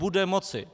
Bude moci!